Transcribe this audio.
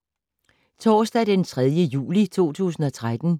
Onsdag d. 3. juli 2013